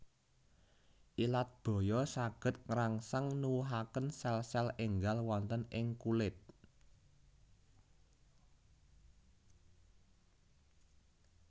Ilat baya saged ngrangsang nuwuhaken selsel énggal wonten ing kulit